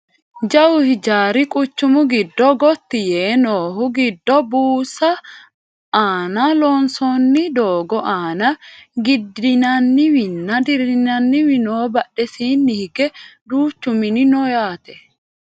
jawu hijaari quchumu giddo gotti yee noohu giddo buusu aana loonsoonni doogo aana giddinaniwinna dirrinanniwi no badhesiinni hige duuchu mini no yaate